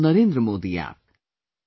And on NarendraModiApp